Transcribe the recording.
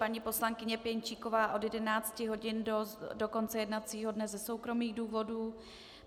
Paní poslankyně Pěnčíková od 11 hodin do konce jednacího dne ze soukromých důvodů.